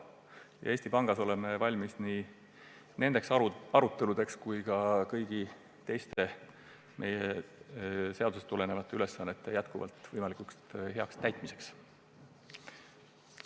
Oleme Eesti Pangas valmis nii nende arutelude pidamiseks kui ka kõigi teiste meile seadustest tulenevate ülesannete võimalikult heaks täitmiseks.